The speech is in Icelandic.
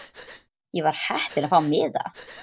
Ég var heppin að fá miða.